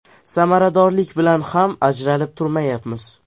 Samaradorlik bilan ham ajralib turmayapmiz.